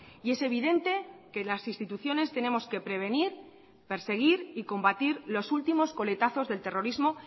y es evidente que las instituciones tenemos que prevenir perseguir y combatir los últimos coletazos del terrorismo